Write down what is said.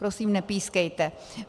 Prosím, nepískejte.